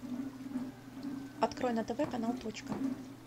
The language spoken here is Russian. открой на тв канал точка